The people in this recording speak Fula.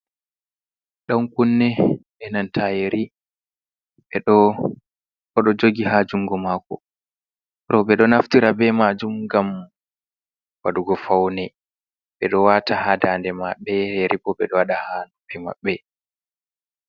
Ɗan kunne e nanta yeri oɗo jogi ha jungo mako ro ɓe ɗo naftira be majum gam waɗugo faune ɓe ɗo wata ha dande maɓɓe yeribo ɓe do waɗa ha noppi maɓɓe.